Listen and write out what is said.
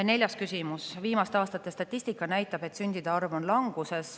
Neljas küsimus: "Viimaste aastate statistika näitab, et sündide arv on languses.